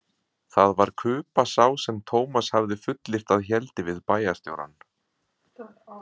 Það var Kuba sá sem Tómas hafði fullyrt að héldi við bæjarstjórann.